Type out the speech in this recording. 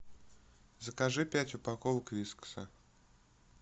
закажи пять упаковок вискаса